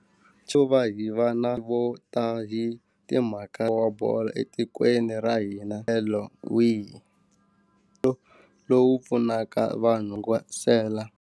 Xo va hi va na vo ta hi timhaka wa bolo etikweni ra hina tlhelo wihi lowu pfunaka vanhu vasela.